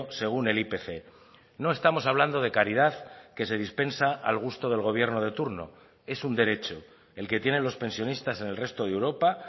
según el ipc no estamos hablando de caridad que se dispensa al gusto del gobierno de turno es un derecho el que tienen los pensionistas en el resto de europa